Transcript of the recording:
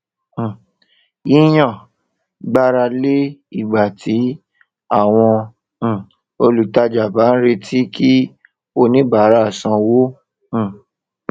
um yíyàn gbára lé ìgbà tí àwọn um olùtajà bá ń retí kí oníbárà sanwó um